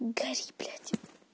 гори блять